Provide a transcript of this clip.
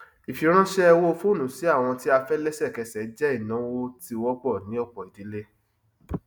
ìfiránṣé owó foonu sí àwọn tí a fẹ lẹsẹkẹsẹ jẹ ináwó tí wọpọ ní ọpọ ìdílé